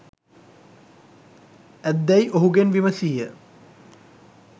ඇත්දැයි ඔහුගෙන් විමසීය.